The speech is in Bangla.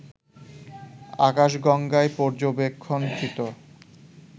আকাশগঙ্গায় পর্যবেক্ষণকৃত